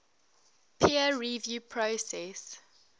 peer review process